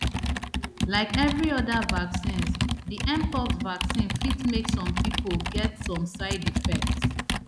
like every oda vaccines di mpox vaccine fit make some pipo get some side effects